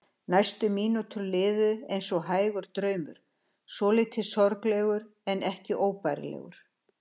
Næstu mínútur liðu eins og hægur draumur, svolítið sorglegur en ekki óbærilegur.